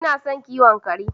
Ina son kiwon kare.